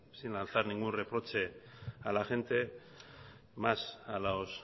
sin lanzar ningún reproche a la gente más a los